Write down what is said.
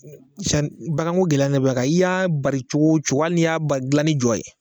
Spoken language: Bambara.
Ɛ Cani bagan ko gɛlɛya dabilaka, i y'a baari cogo cogo, hali nin y'a ban dilan ni jɔ ye.